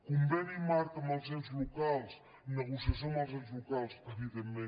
conveni marc amb els ens locals negociació amb els ens locals evidentment